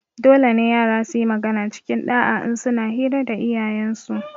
Dolene yara suyi magana cikin ɗa'a in suna hira da iyayensu